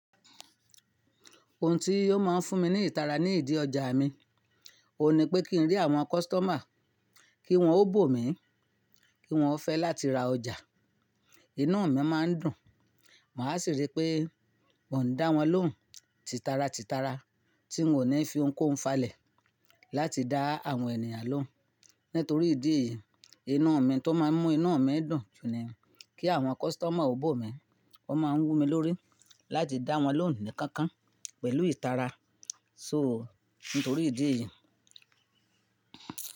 Ohun tí ò máa fún mi ní ìtara ní ìdí ọjà mi, òun ní pé kí n rí àwọn customer, kí wọ́n ó bò mí, kí wọ́n fẹ́ láti ra ọjà. Inú mi máa ń dùn, màá sì rí pé mò ń dá wọn lóhùn titara titara tí mò ní fi ohunkóhun falẹ̀ láti dá àwọn ènìyàn lóhùn. Nítorí ìdí èyí, inú mi tó máa ń mú inú mi dùn ju ni kí àwọn customer ó bò mí. O máa ń wù mí lórí láti dá wọn lóhùn nì kankan pẹ̀lú ìtara. So, nítorí ìdí èyí.